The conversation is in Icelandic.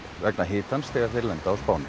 vegna hitans þegar þeir lenda á Spáni